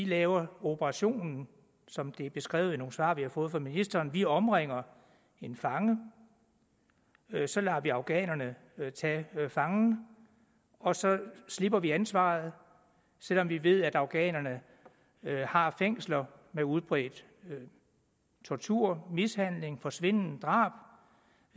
lave operationen som det er beskrevet i nogle svar vi har fået fra ministeren hvor vi omringer en fange og så lader vi afghanerne tage fangen og så slipper vi ansvaret selv om vi ved at afghanerne har fængsler med udbredt tortur mishandling forsvinden drab